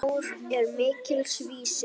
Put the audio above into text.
Mjór er mikils vísir.